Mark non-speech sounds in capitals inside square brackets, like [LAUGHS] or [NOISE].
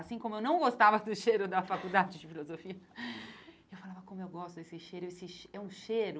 Assim como eu não gostava do cheiro da Faculdade de Filosofia, [LAUGHS] eu falava, como eu gosto desse cheiro, esse che é um cheiro